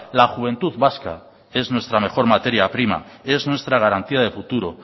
la juventud vasca es nuestra mejor materia prima es nuestra garantía de futuro